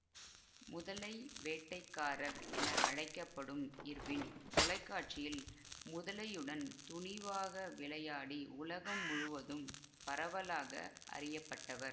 முதலை வேட்டைக்காரர் என அழைக்க படும் இர்வின் தொலைக்காட்சியில் முதலையுடன் துணிவாக விளையாடி உலகம் முழுவதும் பரவலாக அறியப்பட்டவர்